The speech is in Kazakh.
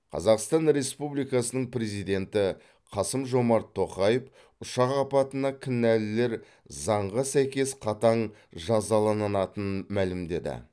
қазақстан республикасының президенті қасым жомарт тоқаев ұшақ апатына кінәлілер заңға сәйкес қатаң жазаланатынын мәлімдеді